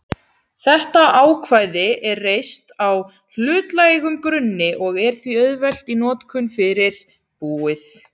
þetta ákvæði er reist á hlutlægum grunni og er því auðvelt í notkun fyrir búið.